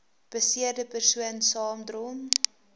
beseerde persoon saamdrom